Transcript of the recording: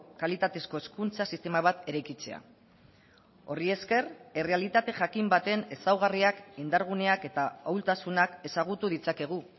kalitatezko hezkuntza sistema bat eraikitzea horri esker errealitate jakin baten ezaugarriak indarguneak eta ahultasunak ezagutu ditzakegu